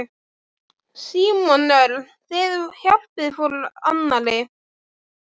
Símon Örn: Þið hjálpið hvor annarri?